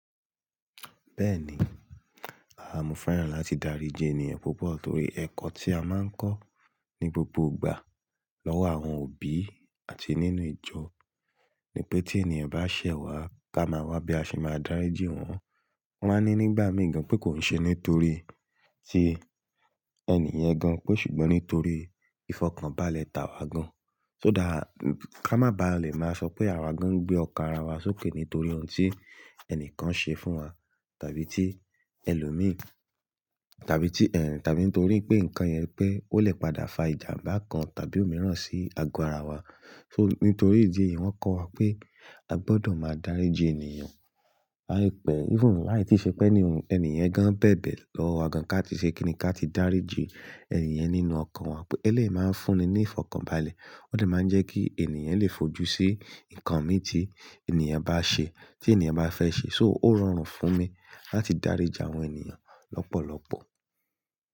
Bẹ́ẹ̀ni, mo feràn láti daríji ènìyàn púpọ̀ torí ẹ̀kọ́ tí a máa ń kọ́ ní gbogbo ìgbà lọ́wọ́ àwọn òbí àti nínú ìjọ ni pé tí ènìyàn bá ṣẹ̀ wá, ká máa wá bí a ṣe máa daríji wọn. Wọ́n á ní nígbà mìíràn pé kò ṣe nítorí ti ènì yen gan-an pé ṣùgbọ́n nítorí ìfọ̀kànbalẹ̀ ta wá gan. So that, ká má ba lè máa sọ pé àwa gan-an gbé ọkàn arà wa sókè nítorí ohun tí ẹnìkan ṣe fún wa tàbí tí ẹlòmíì tàbí tí ẹ̀ tàbí nítorí pé nǹkan yẹn pé ó lè padà fa ìjàmbá kan tàbí òmíràn sí ago ara wa. So nítorí ìdí èyí wọn kọ́ wa pé a gbọ́dọ̀ máa daríji ènìyàn. Lai pẹ̀, even láì tí ì ṣe pẹ́ ni ohun, ènìyàn gan bẹ̀bẹ̀ lọ́wọ́ wa gan ká ti ṣe kí ni ká ti daríji ènìyàn nínú ọkàn wa. Ẹlẹ́yi máa ń fún ni ní ìfọ̀kànbalẹ̀, ó sì máa ń jẹ́ kí ènìyàn lè fojú sí nǹkan mi tí ènìyàn bá ṣe, tí ènìyàn bá fẹ́ ṣe. So ó rọrùn fún mi láti daríji àwọn ènìyàn lọ́pọ̀lọ́pọ̀.